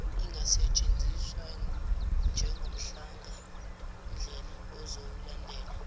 ingasetshenziswa njengomhlahlandlela ozowulandela